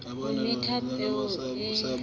o metha peo le manyolo